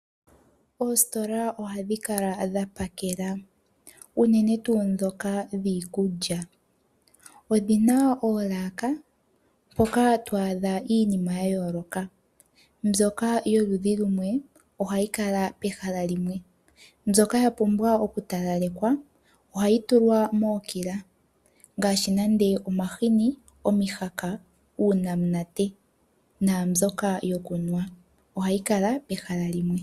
Oositola o hadhi kala dhapakela. Uune tuu ndhoka dhiikulya. Odhina oolaka mpoka to adha iinima ya yooloka mbyoka yoludhi lumwe oha yikala pehala limwe. Mbyoka ya pumbwa okutalalekwa o hayi tulwa mookila , ngaashi omahini omihaka, uunamunate naambyoka yo kunuwa. Ohayi kala pehala limwe.